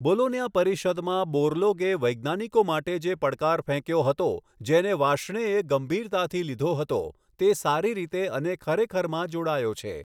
બોલોન્યા પરિષદમાં બોરલોગે વૈજ્ઞાનિકો માટે જે પડકાર ફેંક્યો હતો જેને વાર્ષ્ણેયે ગંભીરતાથી લીધો હતો તે સારી રીતે અને ખરેખરમાં જોડાયો છે.